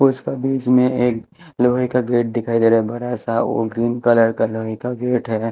उसका बीच में एक लोहे का गेट दिखाई दे रहा है बड़ा सा और ग्रीन कलर का लोहे का गेट है।